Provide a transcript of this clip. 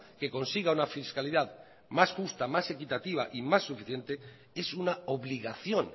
que consiga una fiscalidad más justa más equitativa y más suficiente es una obligación